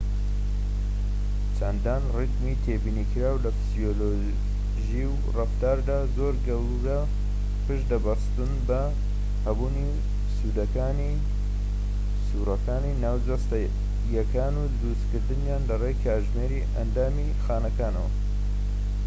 چەندان ریتمی تێبینی کراو لە فسیۆلۆژی و ڕەفتاردا زۆر گەورە پشت دەبەستن بە هەبوونی سووڕەکانی ناوجەستەییەکان و دروستکردنیان لەڕێی کاتژمێری ئەندامیی خانەکانەوە